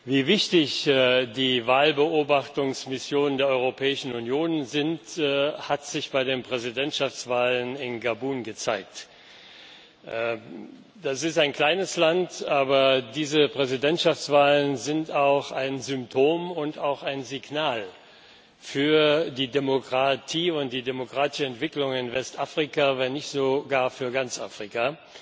Wie wichtig die Wahlbeobachtungsmissionen der Europäischen Union sind, hat sich bei der Präsidentschaftswahl in Gabun gezeigt. Das ist ein kleines Land, aber diese Präsidentschaftswahl ist auch ein Symptom und auch ein Signal für die Demokratie und die demokratische Entwicklung in Westafrika, wenn nicht sogar für ganz Afrika.